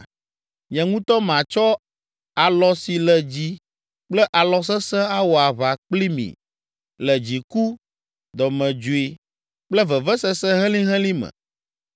Nye ŋutɔ matsɔ alɔ si le dzi kple alɔ sesẽ awɔ aʋa kpli mi le dziku, dɔmedzoe kple vevesese helĩhelĩ me.